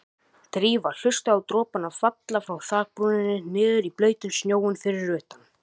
Drífa hlustaði á dropana falla frá þakbrúninni niður í blautan snjóinn fyrir utan.